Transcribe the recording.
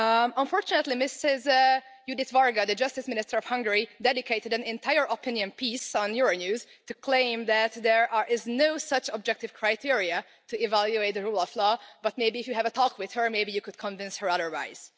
Unfortunately, Ms Judit Varga, the Justice Minister of Hungary, dedicated an entire opinion piece on Euronews to claim that there are no such objective criteria to evaluate the rule of law, but maybe if you have a talk with her, maybe you could convince her otherwise.